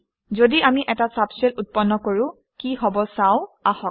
যদি আমি এটা ছাবশেল উৎপন্ন কৰোঁ কি হব চাও আহক